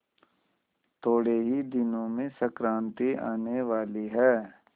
थोड़े ही दिनों में संक्रांति आने वाली है